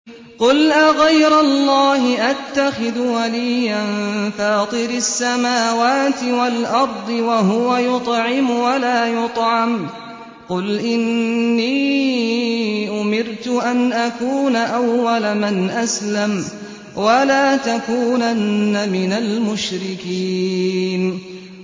قُلْ أَغَيْرَ اللَّهِ أَتَّخِذُ وَلِيًّا فَاطِرِ السَّمَاوَاتِ وَالْأَرْضِ وَهُوَ يُطْعِمُ وَلَا يُطْعَمُ ۗ قُلْ إِنِّي أُمِرْتُ أَنْ أَكُونَ أَوَّلَ مَنْ أَسْلَمَ ۖ وَلَا تَكُونَنَّ مِنَ الْمُشْرِكِينَ